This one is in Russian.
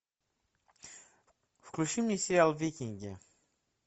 включи мне сериал викинги